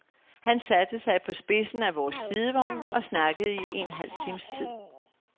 Han satte sig på spidsen af vores sidevogn og snakkede i en halv times tid.